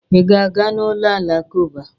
Ị ga-aga n'ụlọ alakụkba?